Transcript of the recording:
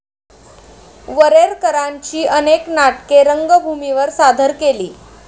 वरेरकरांची अनेक नाटके रंगभूमीवर सादर केली.